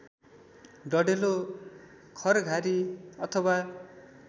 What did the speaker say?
डढेलो खरघारी अथवा